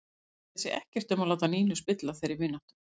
Hann kærði sig ekkert um að láta Nínu spilla þeirri vináttu.